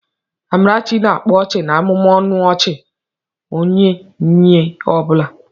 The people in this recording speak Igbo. Amarachi na-akpa ọchị na-amụmụ ọnụ ọchị nye onye ọ bụla.